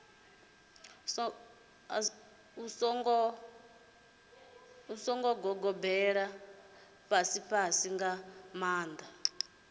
songo gobelela fhasifhasi nga maanḓa